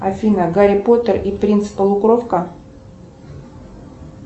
афина гарри поттер и принц полукровка